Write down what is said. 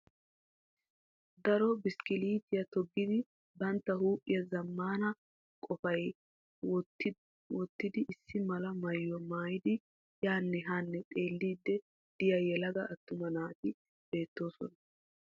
Daro bishkkiliitiya toggidi bantta huuphiyan zammaana qophiya wottidi issi mala mayyuwa mayidi yaanne haa xeelliddi diya yelaga attuma naati beettoosona.